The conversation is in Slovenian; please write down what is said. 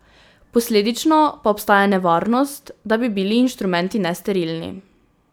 Posledično pa obstaja nevarnost, da bi bili inštrumenti nesterilni.